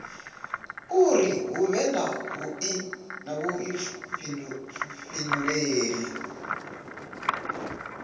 uri hu vhe na vhuifhinduleli